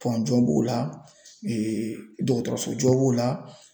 jɔ b'o la dɔgɔtɔrɔso jɔ b'o la.